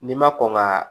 N'i ma kɔn ŋ'a